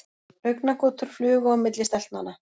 Augnagotur flugu á milli stelpnanna.